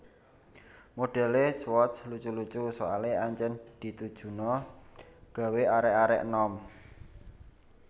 Modele Swatch lucu lucu soale ancen ditujuno gawe arek arek enom